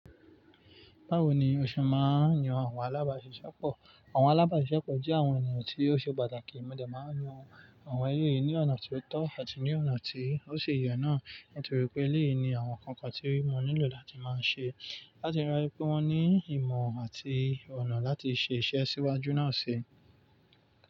Báwo ni o ṣe máa ń yan àwọn alábàáṣiṣẹ́pọ̀? Àwọn alábàáṣiṣẹ́pọ̀ jẹ́ àwọn ènìyàn tí ó ṣe pàtàkì. Mo de máa ń yan àwọn ẹleyìí ní ọ̀nà tó tọ́ àti ní ọ̀nà tí ó ṣi yẹn náà nítorí pé eléyìí ni àwọn kankan tí wọ́n nílò láti máa ṣe láti rántí pé wọ́n ní ìmọ̀ àti ọ̀nà láti ṣe iṣẹ́ síwájú náà ṣii.